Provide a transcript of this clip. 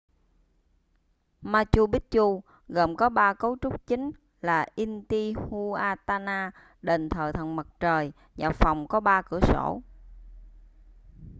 machu picchu gồm có ba cấu trúc chính là intihuatana đền thờ thần mặt trời và phòng có ba cửa sổ